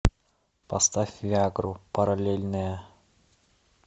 поставь виа гру параллельные